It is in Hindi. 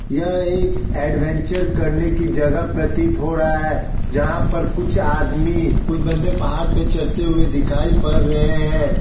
यह एक एडवेंचर करने की जगह प्रतीत हो रहा है जहां पर कुछ आदमी कुछ बंदे पहाड़ पे चढ़ते हुए दिखाई पड़ रहे है।